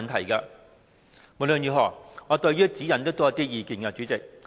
主席，我對《規劃標準》也有一些意見。